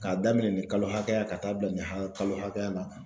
K'a daminɛ nin kalo hakɛya ka taa bila nin kalo hakɛya la.